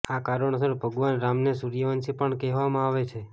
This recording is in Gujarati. આ કારણોસર ભગવાન રામને સૂર્યવંશી પણ કહેવામાં આવે છે